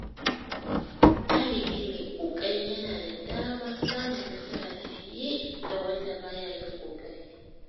Ɗalibi mai ƙoƙari yana da damar samun nasara fiye da wanda baya yin ƙoƙari.